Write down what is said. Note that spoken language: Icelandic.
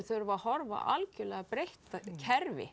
þurfa að horfa á algjörlega breytt kerfi